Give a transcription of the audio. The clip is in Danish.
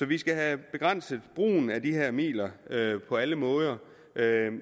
vi skal have begrænset brugen af de her midler på alle måder